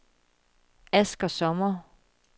Asger Sommer